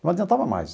Não adiantava mais.